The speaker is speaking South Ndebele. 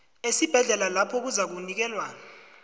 esibhedlela lapho uzakunikelwa